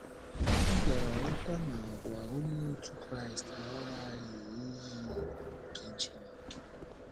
Ọ bịara ghọta na àgwà Onye otu Kraịst aghaghị iyi iyi nke Chineke.